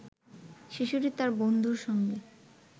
শিশুটি তার বন্ধুর সঙ্গে